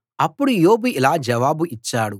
అప్పుడు యోబు ఇలా జవాబు ఇచ్చాడు